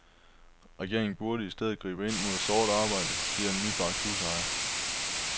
Regeringen burde i stedet gribe ind mod sort arbejde, siger en nybagt husejer.